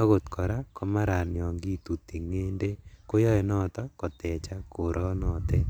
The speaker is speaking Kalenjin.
akot kora komaran Yoon kituti ng'endek koyoe noton kotechak koronotet.